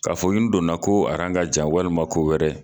Ka fo nin donna ko a ka jan walima ko wɛrɛ